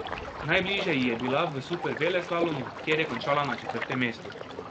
Najbližje ji je bila v superveleslalomu, kjer je končala na četrtem mestu.